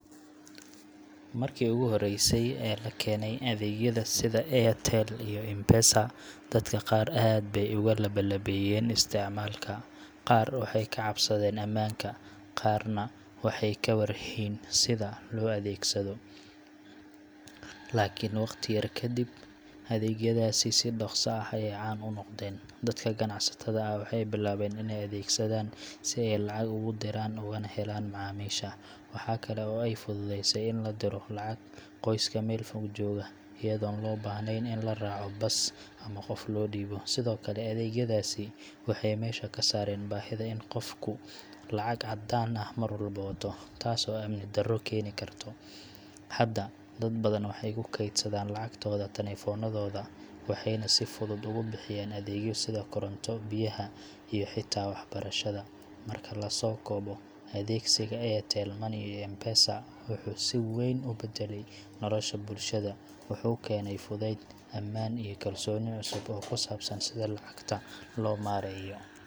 Markii ogu horeysey ee lakene adeegyada sida airtel iyo mpesa dadka qaar aad bay oga labalabeyen isticmaalka, qaar waxay kacabsadeen amaanka, qarna waxay kawar hayn sida loo adeegsado lakin waqti yar kadib adeegyadas si dhaqsa ah ayay caan u noqdeen dadka ganacsatada ah waxay bilaween inay adeegsadan si ay lacag ogu diyaran kana helan macaamisha, waxa kale oy fudueyse lin la diro lacag qoys Mel fog jogoo ayadon loo bahnen in laa raaco bas ama qof loo dhiibo, sidokale adeegyadaasi waxay mesha kasaaren bahida in qofku lacag cadaan ah Mar walbo uu wato taaso amni dara keeni karto, hada dad badan waxay kukedsadan lacagtooda talefoonadoda, waxayna si fudud ugu bixiyan adeegya sida koronto, biyaha iyo xita wax barashada, marka laso kobo adeegsiga airtel money iyo mpesa wuxuu si weyn u badale nolosha bulshada ,wuxuu keeney fudud ,amaan iyo kalsoni cusub oo kusabsan sida lacagta loo mareeyo.